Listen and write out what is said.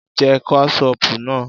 Jẹ́ Kẹ́ṣọpù náà!